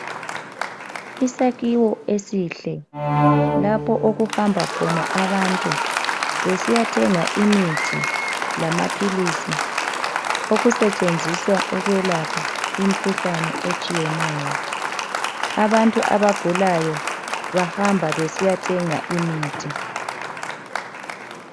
Isakhiwo esihle, lapho okuhamba khona abantu besiyathenga imithi lamaphilisi okusetshenziswa ukwelapha imkhuhlane etshiyeneyo. Abantu abagulayo bahamba besiyathenga imithi.